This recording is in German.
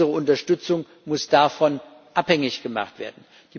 Unsere Unterstützung muss davon abhängig gemacht werden.